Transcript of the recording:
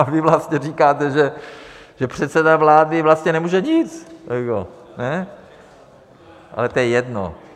A vy vlastně říkáte, že předseda vlády vlastně nemůže nic, ale to je jedno.